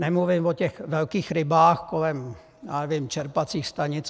Nemluvím o těch velkých rybách kolem čerpacích stanic.